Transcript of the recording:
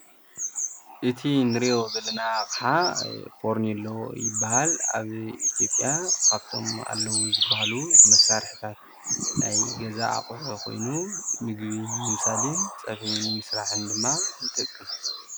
እቲ እንሪኦ ዘለና ኣቅሓ ፌርኖሎ ይባሃል፡፡ ኣብ ኢ/ያ ካብቶም ኣለው ዝብሃሉ መሳርሒታት ናይ ገዛ ኣቅሑ ኮይኑ ምግቢ ንምብሳልን ፀብሒ ንምስራሕን ድማ ይጠቅም?